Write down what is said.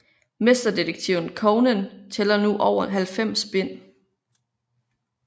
Mesterdetektiven Conan tæller nu over 90 bind